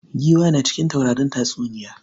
Giwa na cikin taurarin tatsuniya.